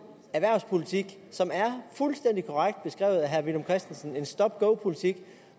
erhvervspolitik som er fuldstændig korrekt beskrevet af herre villum christensen en stop go politik